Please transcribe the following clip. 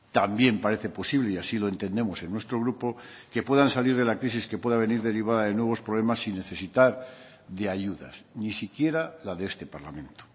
también parece posible y así lo entendemos en nuestro grupo que puedan salir de la crisis que pueda venir derivada de nuevos problemas sin necesitar de ayudas ni siquiera la de este parlamento